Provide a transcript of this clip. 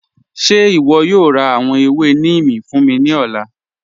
Ṣe ìwọ yóò rá àwọn èwè Nímì fún mi ni ọ̀lá?